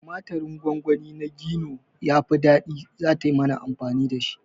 Tumaturin gongoni na Gino yafi ɗadi, zata yi mana amfani dashi